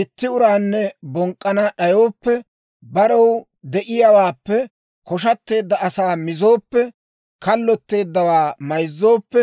itti uraanne bonk'k'ana d'ayooppe, barew de'iyaawaappe koshateedda asaa mizooppe, kallotteeddawaa mayzzooppe,